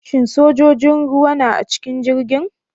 Shin sojojin ruwa na a cikin jirgin?